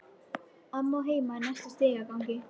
Amma á heima í næsta stigagangi.